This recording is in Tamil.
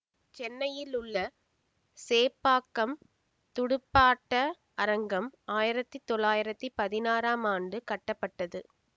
சென்னையிலுள்ள சேப்பாக்கம் துடுப்பாட்ட அரங்கம் ஆயிரத்தி தொள்ளாயிரத்தி பதினாறாம் ஆண்டு கட்டப்பட்டது